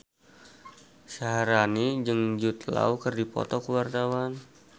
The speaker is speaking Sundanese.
Syaharani jeung Jude Law keur dipoto ku wartawan